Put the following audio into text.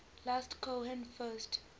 last cohen first